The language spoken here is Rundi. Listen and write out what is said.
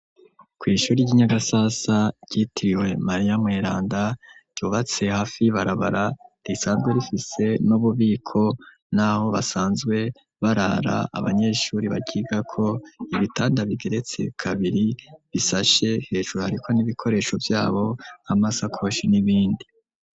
kwishuri ryi Nyagasasa ryitiriwe Maria Mweranda ryubatse hafi y’Ibarabara, risanzwe rifise n'ububiko n'aho basanzwe barara abanyeshuri baryigako ibitanda bigeretse kabiri bisashe hejuru ariko n'ibikoresho vyabo amasakoshi n'ibindi.